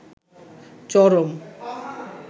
চরম